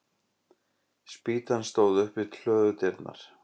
Spýtan stóð upp við hlöðudyrnar.